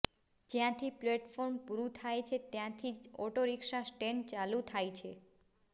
જ્યાંથી પ્લેટફોર્મ પૂરું થાય છે ત્યાંથી જ ઓટોરિક્ષા સ્ટેન્ડ ચાલું થાય છે